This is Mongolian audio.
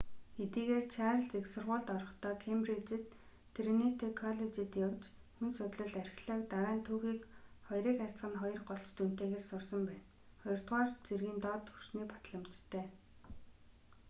хэдийгээр чарлиз их сургуульд орохдоо кембриджид триниту коллежид явж хүн судллал архиологи дараа нь түүхийг 2:2 голч дүнтэйгээр сурсан байна. 2р зэргийн доод төвшиний батламжтай